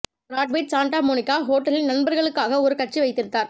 Brad Pitt Santa Monica ஹோட்டலில் நண்பர்களுக்காக ஒரு கட்சி வைத்திருந்தார்